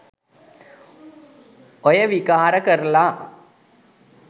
ඔය විකාර කරලා